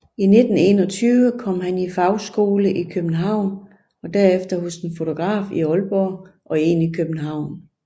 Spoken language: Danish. I 1921 kom han i fagskole i København og derefter hos en fotograf i Aalborg og en i København